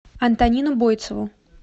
антонину бойцову